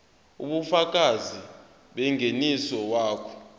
ubufakazi bengeniso wakho